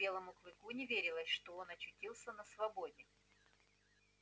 белому клыку не верилось что он очутился на свободе